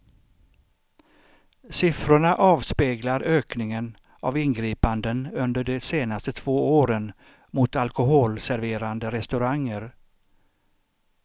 Siffrorna avspeglar ökningen av ingripanden under de senaste två åren mot alkoholserverande restauranger.